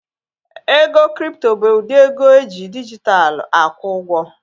Ego kripto bụ ụdị ego eji dijitalụ akwụ ụgwọ